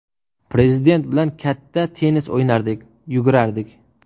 Prezident bilan katta tennis o‘ynardik, yugurardik.